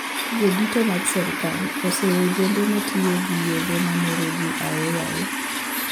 Jodito mag sirkal oseyo ojede matiyo gi yedhe mameroji aoyaye